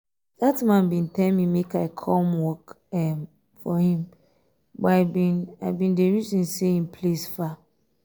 dat man bin tell me make i come um work um for him um but i bin i bin dey reason say im place far